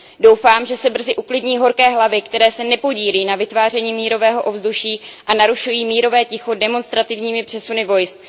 Doufám, že se brzy uklidní horké hlavy, které se nepodílí na vytváření mírového ovzduší a narušují mírové ticho demonstrativními přesuny vojsk.